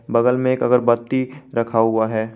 बगल में एक अगरबत्ती रखा हुआ है।